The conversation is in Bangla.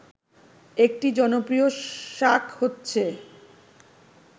একটি জনপ্রিয় শাক হচ্ছে